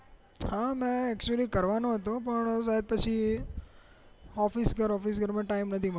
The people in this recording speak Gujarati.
હા મેં actually કરવાનો હતો પણ એ વાત પછી ઓફીસ વર્ક માં ટાઇમ માં નથી મળ્યો